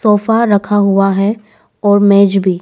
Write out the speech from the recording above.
Sofa रखा हुआ है और मेज भी।